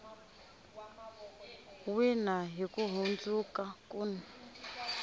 wina hi ku hundzuka kun